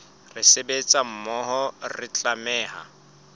re sebetsa mmoho re tlameha